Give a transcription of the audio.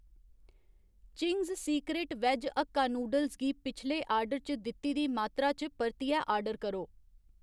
Ching's secret veg hakka noodles गी पिछले order च दित्ती दी मात्तरा च परतियै आर्डर करो।